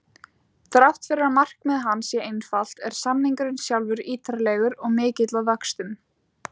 Þrátt fyrir að markmið hans sé einfalt er samningurinn sjálfur ítarlegur og mikill að vöxtum.